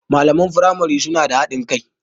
Malaman firamari suna da haɗin kai.